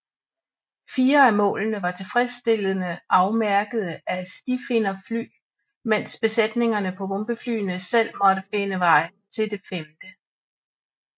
Fire af målene var tilfredsstillende afmærkede af stifinderfly mens besætningerne på bombeflyene selv måtte finde vej til det femte